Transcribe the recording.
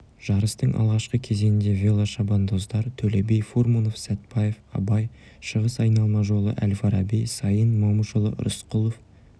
жарыстың алғашқы кезеңінде велошабандоздар төле би фурманов сатпаев абай шығыс айналма жолы әл-фараби саин момышұлы рысқұлов